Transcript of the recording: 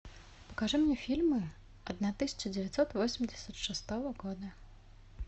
покажи мне фильмы одна тысяча девятьсот восемьдесят шестого года